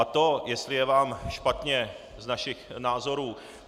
A to, jestli je vám špatně z našich názorů?